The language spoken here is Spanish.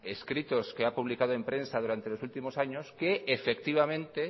escritos que ha publicado en prensa durante los últimos años que efectivamente